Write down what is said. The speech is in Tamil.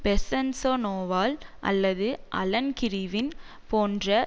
பெசன்ஸொநோவால் அல்லது அலன் கிறிவின் போன்ற